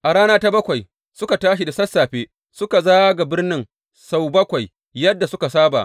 A rana ta bakwai, suka tashi da sassafe suka zaga birnin sau bakwai yadda suka saba.